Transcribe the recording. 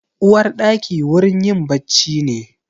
Uwarɗaki wurin yin bacci ne.